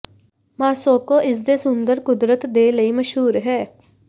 Moscow ਇਸ ਦੇ ਸੁੰਦਰ ਕੁਦਰਤ ਦੇ ਲਈ ਮਸ਼ਹੂਰ ਹੈ